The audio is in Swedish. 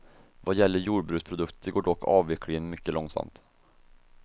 Vad gäller jordbruksprodukter går dock avvecklingen mycket långsamt.